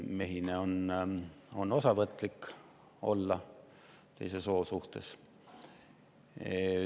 Mehine on olla osavõtlik teise soo suhtes.